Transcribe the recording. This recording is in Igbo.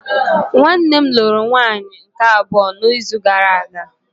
Nwanne nne lụrụ nwaanyị nke abụọ n'izu gara aga